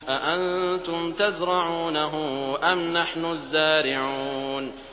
أَأَنتُمْ تَزْرَعُونَهُ أَمْ نَحْنُ الزَّارِعُونَ